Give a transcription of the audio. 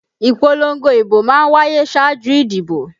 Ìpolongo ìbò má ń wáyé ṣáájú ìdìbò